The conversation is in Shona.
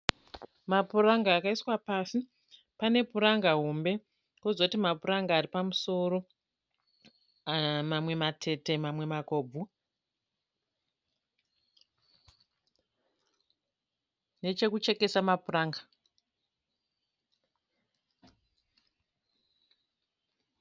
Mapuranga akaiswa pasi, panepuranga hombe pozoti ma paranga aripamusoro mamwe matete mamwe makobvu. Nechekuchekesa mapuranga.